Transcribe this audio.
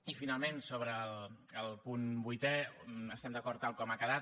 i finalment sobre el punt vuitè estem d’acord tal com ha quedat